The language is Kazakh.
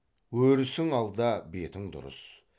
өрісің алда бетің дұрыс